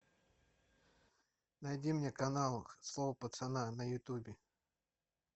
найди мне канал слово пацана на ютубе